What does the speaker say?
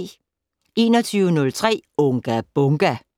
21:03: Unga Bunga!